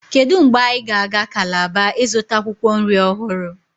kedu mgbe anyị ga-aga Calabar ịzụta akwụkwọ nri ọhụrụ